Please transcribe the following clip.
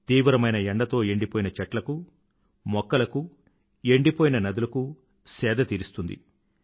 తీవ్రమైన ఎండతో ఎండిపోయిన చెట్లకు మొక్కలకు ఎండిపోయిన నదులకు సేద తీరుస్తుంది